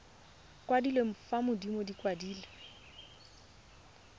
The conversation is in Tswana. kwadilwe fa godimo di kwadilwe